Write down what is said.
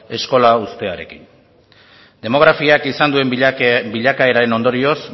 eskola uztearekin demografiak izan duen bilakaeraren ondorioz